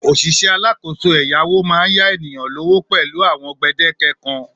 Òṣìṣẹ́ alákòóso ẹ̀yáwó máa ń yá ènìyàn lówó pẹ̀lú àwọn gbèdéke kan